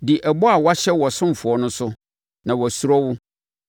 Di ɛbɔ a woahyɛ wo ɔsomfoɔ no so, na wasuro wo.